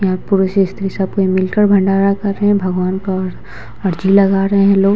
यहाँ पुरुष स्त्री सब कोई मिलकर भंडारा कर रहें हैं भगवान का अर्ज़ी लगा रहें हैं लोग।